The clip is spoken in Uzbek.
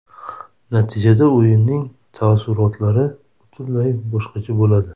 Natijada, o‘yinning taassurotlari butunlay boshqacha bo‘ladi.